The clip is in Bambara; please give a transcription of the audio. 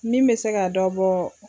Min bɛ se ka dɔ bɔ